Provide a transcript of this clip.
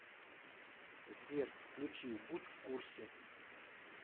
сбер включи будь в курсе